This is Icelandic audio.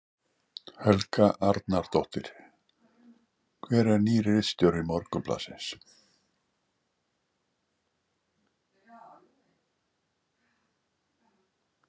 Helga Arnardóttir: Hver er nýr ritstjóri Morgunblaðsins?